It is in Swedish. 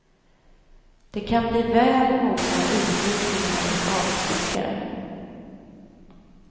Det kan bli väl många utvikningar och avstickare.